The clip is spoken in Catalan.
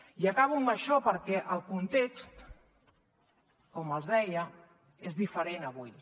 i acabo amb això perquè el context com els deia és diferent avui